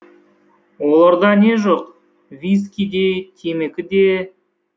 оларда не жоқ виски де темекі де